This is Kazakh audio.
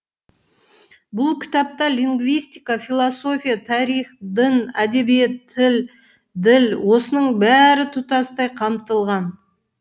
бұл кітапта лингвистика философия тарих дін әдебиет тіл діл осының бәрі тұтастай қамтылған